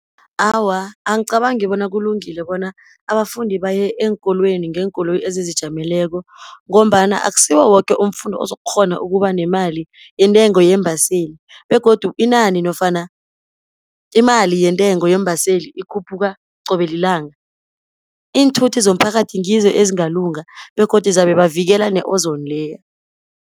Awa angicabangi bona kulungile bona abafundi bayeenkolweni ngeenkoloyi ezizijameleko, ngombana akusiwo woke umfundi ozokukghona ukubanemali intengo yeembaseli, begodu inani nofana imali yentengo yeembaseli ikhuphuka qobe lilanga. Iinthuthi zomphakathi ngizo ezingalunga, begodu zabebavikela ne-Ozone layer.